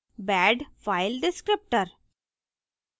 bad file descriptor